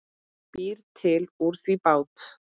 Býr til úr því bát.